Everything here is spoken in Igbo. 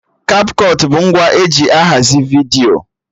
Kapkọt bụ ngwa eji ahazi vidiyo